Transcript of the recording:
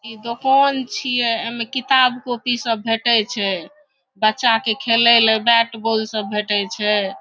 इ दोकान छीए एमें किताब कॉपी सब भेटय छै बच्चा के खेलय ले बैट बॉल सब भेटय छै।